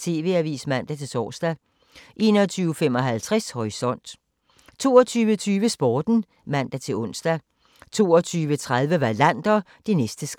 TV-avisen (man-tor) 21:55: Horisont 22:20: Sporten (man-ons) 22:30: Wallander: Det næste skridt